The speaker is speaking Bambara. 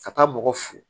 Ka taa bɔgɔ f